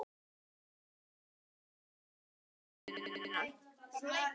Háskólinn fengi ókeypis heitt vatn til upphitunar.